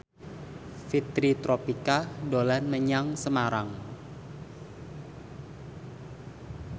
Fitri Tropika dolan menyang Semarang